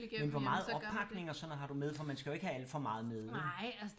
Men hvor meget oppakning og sådan noget har du med for man skal jo ikke have alt for meget med vel